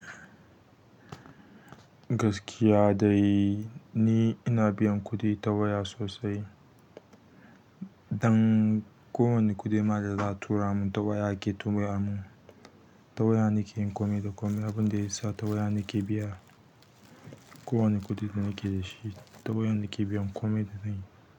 Gaskiya dai ni ina biyan kuɗi ta waya sosai. Dan kowane kuɗi ma da za a tura mun ta waya ake tura mun. Ta waya nake yin kome da kome, abin da ya sa ta waya nake biya kowane kuɗi da nake da shi. Ta waya nake biyan kome da nayi.